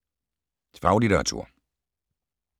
Faglitteratur